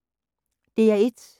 DR1